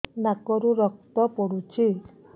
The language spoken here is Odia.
ନାକରୁ ରକ୍ତ ପଡୁଛି